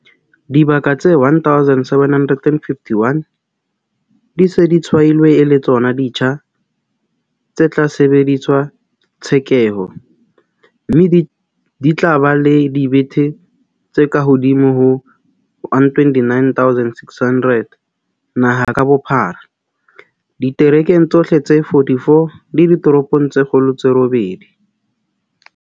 Dibaka tse 1 751 di se di tshwailwe e le tsona ditsha tse tla sebedisetswa tshekeho, mme di tla ba le dibethe tse kahodimo ho 129 600 naha ka bophara, diterekeng tsohle tse 44 le ditoropong tse kgolo tse robedi.